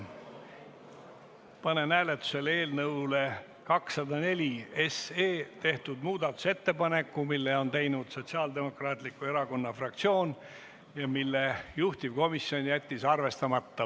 Panen hääletusele eelnõu 204 kohta tehtud muudatusettepaneku, mille on teinud Sotsiaaldemokraatliku Erakonna fraktsioon ja mille juhtivkomisjon on jätnud arvestamata.